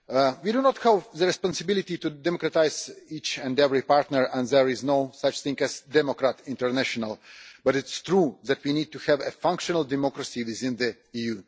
We do not have the responsibility to democratise each and every partner, and there is no such thing as democrat international', but it is true that we need to have a functional democracy within the EU.